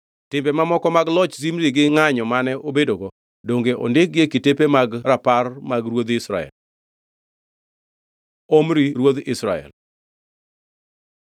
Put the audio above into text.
Timbe mamoko mag loch Zimri gi ngʼanyo mane obedogo, donge ondikgi e kitepe mag rapar mag ruodhi Israel? Omri ruodh Israel